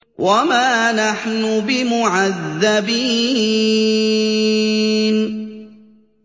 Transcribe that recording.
وَمَا نَحْنُ بِمُعَذَّبِينَ